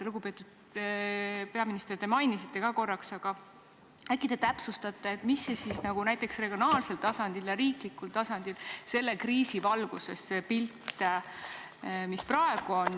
Lugupeetud peaminister, te mainisite korra, aga äkki täpsustate, milline näiteks regionaalsel tasandil ja riiklikul tasandil selle kriisi valguses on praegune pilt.